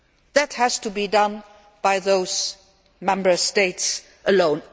that has to be done by those Member States alone.